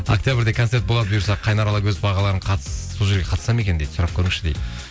октябрьде концерт болады бұйырса қайнар алагөзов ағаларың сол жерге қатысады ма екен сұрап көріңізші дейді